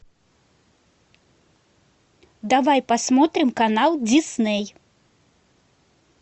давай посмотрим канал дисней